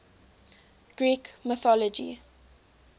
greek mythology